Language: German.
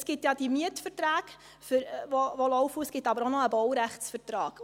– Es gibt die laufenden Mietverträge, es gibt aber auch noch einen Baurechtsvertrag.